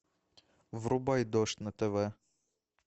врубай дождь на тв